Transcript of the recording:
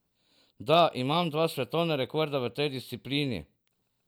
Da, imam dva svetovna rekorda v tej disciplini.